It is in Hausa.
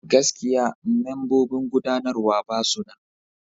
Gaskiya! membobin gudanarwa ba su nan.